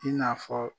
I n'a fɔ